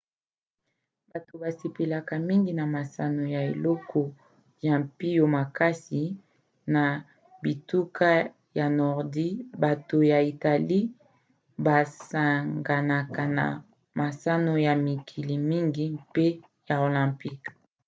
bato basepelaka mingi na masano ya eleko ya mpio makasi na bituka ya nordi bato ya italie basanganaka na masano ya mikili mingi mpe ya olympique